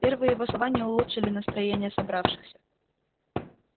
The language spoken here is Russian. первые его слова не улучшили настроения собравшихся